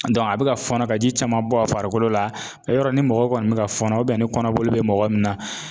Dɔnku a be ka fɔnɔ ka ji caman bɔ a farikolo la e yɔrɔa ni mɔgɔ kɔni be ka fɔnɔ ubiyɛn ni kɔnɔboli be mɔgɔ min na